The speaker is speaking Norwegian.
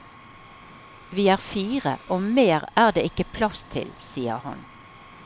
Vi er fire, og mer er det ikke plass til, sier han.